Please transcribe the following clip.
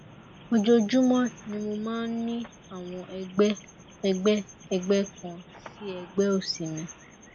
ojoojúmọ ni mo máa ń ní àwọn ẹgbẹ ẹgbẹ ẹgbẹ kan sí ẹgbẹ òsì mi